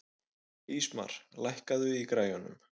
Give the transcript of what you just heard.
Ísmar, lækkaðu í græjunum.